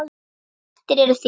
Eftir eru þrír.